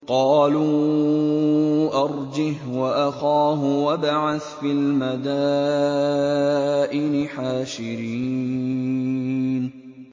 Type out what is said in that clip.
قَالُوا أَرْجِهْ وَأَخَاهُ وَابْعَثْ فِي الْمَدَائِنِ حَاشِرِينَ